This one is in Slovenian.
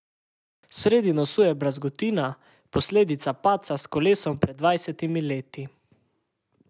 Sredi nosu je brazgotina, posledica padca s kolesom pred dvajsetimi leti.